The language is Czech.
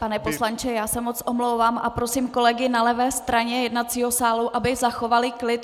Pane poslanče, já se moc omlouvám a prosím kolegy na levé straně jednacího sálu, aby zachovali klid.